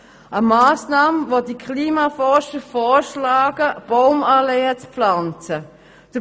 Eine von Klimaforschern vorgeschlagene Massnahme ist das Pflanzen von Baumalleen.